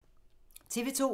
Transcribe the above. TV 2